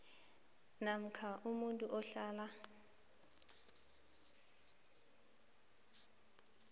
namkha umuntu ohlala